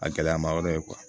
A gɛlɛyama yɔrɔ ye